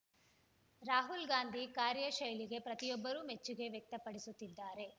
ರಾಹುಲ್‌ ಗಾಂಧಿ ಕಾರ್ಯಶೈಲಿಗೆ ಪ್ರತಿಯೊಬ್ಬರೂ ಮೆಚ್ಚುಗೆ ವ್ಯಕ್ತಪಡಿಸುತ್ತಿದ್ದಾರೆ